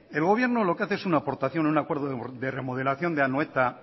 mire el gobierno lo que hace es una aportación un acuerdo de remodelación de anoeta